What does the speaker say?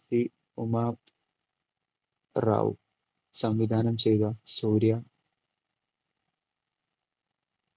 P Uma Rao സംവിധാനം ചെയ്ത സൂര്യ